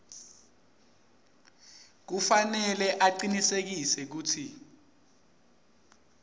kufanele acinisekise kutsi